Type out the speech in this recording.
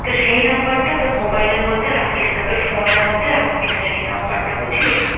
তো সেই নাম্বার টা তোর mobile এর মধ্যে রাখিস না, তোর phone এর মধ্যে রাখবি না সেই number টা। বুঝলি?